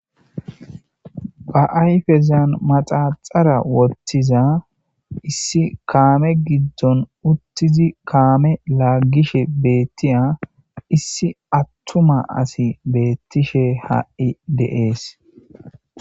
Ba ayfezan maxaxara wottiza issi kaame giddon uttizi kaame laagishe beettiya issi attuma asi beettishe ha7i de7ees.